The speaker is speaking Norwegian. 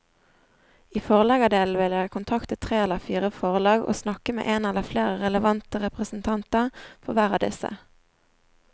I forleggerdelen vil jeg kontakte tre eller fire forlag og snakke med en eller flere relevante representanter for hver av disse.